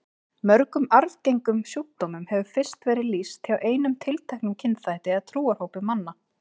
Mörgum arfgengum sjúkdómum hefur fyrst verið lýst hjá einum tilteknum kynþætti eða trúarhópi manna.